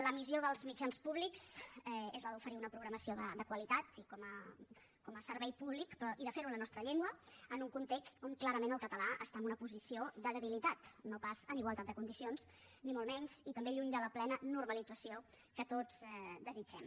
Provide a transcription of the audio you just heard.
la missió dels mitjans públics és la d’oferir una programació de qualitat i com a servei públic però i de fer ho en la nostra llengua en un context on clarament el català està en una posició de debilitat no pas en igualtat de condicions ni molt menys i també lluny de la plena normalització que tots desitgem